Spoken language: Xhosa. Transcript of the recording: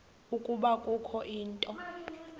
ukuba kukho into